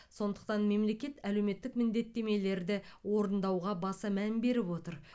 сондықтан мемлекет әлеуметтік міндеттемелерді орындауға баса мән беріп отыр